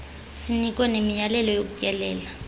sinikwe nemiyalelo yokutyelela